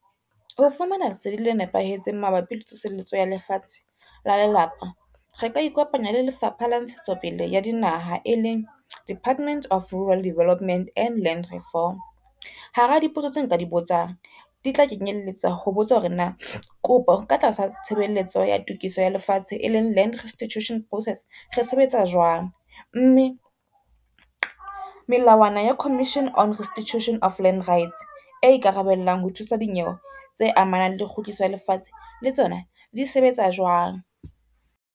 Ho fumana lesedi le nepahetseng mabapi le tsoseletso ya lefatshe la lelapa, re ka ikopanya le Lefapha la Ntshetsopele ya Dinaha e leng Department of Rural Development and Land Reform. Hara dipotso tse nka di botsang, di tla kenyeletsa ho botsa hore na kopo ka tlasa tshebeletso ya tokiso ya lefatshe e leng Land Restitution Process re sebetsa jwang, mme melawana ya Commission on Restitution of Land Rights e ikarabellang ho thusa dinyewe tse amanang le kgutliso ya lefatshe le tsona di sebetsa jwang.